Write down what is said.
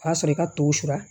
O y'a sɔrɔ i ka tɔ su la